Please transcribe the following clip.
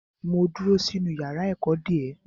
Mo dúró sínú yàrá ẹ̀kọ́ dè ẹ́.